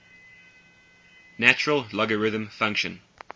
natural logarithm function